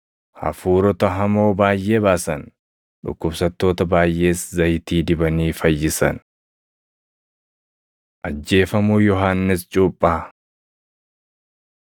Hafuurota hamoo baayʼee baasan; dhukkubsattoota baayʼees zayitii dibanii fayyisan. Ajjeefamuu Yohannis Cuuphaa 6:14‑29 kwf – Mat 14:1‑12 6:14‑16 kwf – Luq 9:7‑9